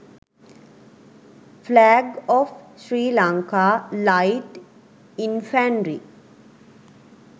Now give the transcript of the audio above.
flag of srilanka light infanry